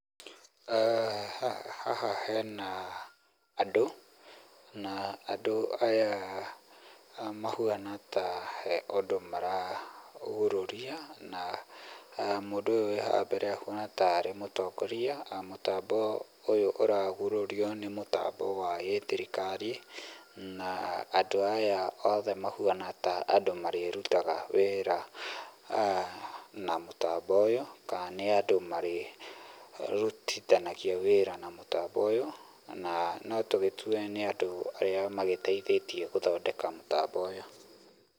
Haha he na andũ, na andũ aya mahuana ta he kũndũ maragurũria na mũndũ ũyũ wĩ haha mbere ahuana ta arĩ mũtongoria. Mũtambo ũyũ ũragurũrio nĩ mũtambo wa gĩ-thirikari, na andũ aya othe mahuana ta andũ marĩrutaga wĩra na mũtambo ũyũ, kana nĩ andũ marĩrutithanagia wĩra na mũtambo ũyũ, na no tũgĩtue nĩ andũ arĩa magĩteithĩtie gũthondeka mũtambo ũyũ.